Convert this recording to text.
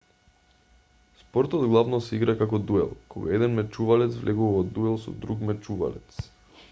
спортот главно се игра како дуел кога еден мечувалец влегува во дуел со друг мечувалец